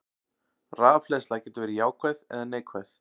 Rafhleðsla getur verið jákvæð eða neikvæð.